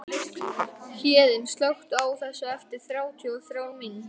Héðinn, slökktu á þessu eftir þrjátíu og þrjár mínútur.